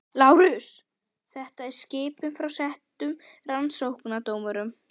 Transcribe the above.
LÁRUS: Þetta er skipun frá settum rannsóknardómara.